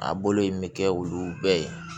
A bolo in bɛ kɛ olu bɛɛ ye